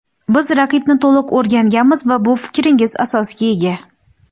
Biz raqibni to‘liq o‘rganganmiz va bu fikringiz asosga ega.